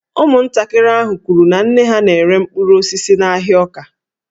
Ụmụntakịrị ahụ kwuru na nne ha na-ere mkpụrụ osisi n’ahịa Awka